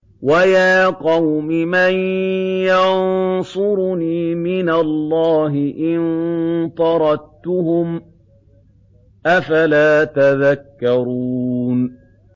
وَيَا قَوْمِ مَن يَنصُرُنِي مِنَ اللَّهِ إِن طَرَدتُّهُمْ ۚ أَفَلَا تَذَكَّرُونَ